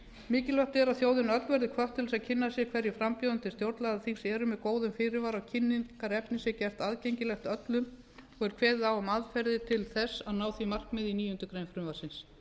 mikilvægt er að þjóðin öll verði hvött til að kynna sér hverjir frambjóðendur til stjórnlagaþings eru með góðum fyrirvara og kynningarefni sé gert aðgengilegt öllum og er kveðið á um aðferðir til þess að ná því markmiði í níundu grein frumvarpsins